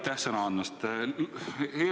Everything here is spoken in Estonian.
Aitäh sõna andmast!